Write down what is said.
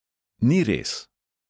Ni res!